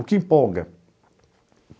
O que empolga?